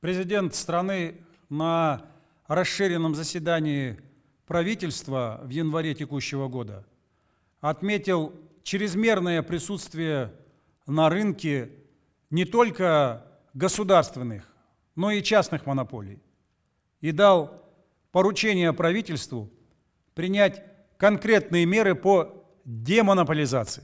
президент страны на расширенном заседании правительства в январе текущего года отметил чрезмерное присутствие на рынке не только государственных но и частных монополий и дал поручение правительству принять конкретные меры по демонополизации